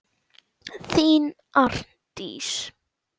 Þín, Arndís.